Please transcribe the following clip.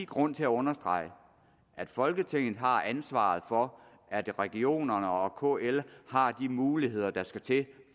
grund til at understrege at folketinget har ansvaret for at regionerne og kl har de muligheder der skal til